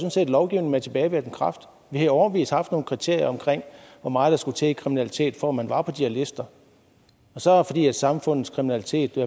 lovgivning med tilbagevirkende kraft vi har i årevis haft nogle kriterier om hvor meget der skulle til i kriminalitet for at man var på de her lister så fordi samfundets kriminalitet i